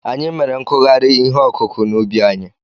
Anyị mere nkụgharị ihe ọkụkụ̀ n'ubi anyị.